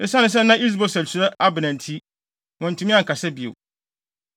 Esiane sɛ na Is-Boset suro Abner nti, wantumi ankasa bio.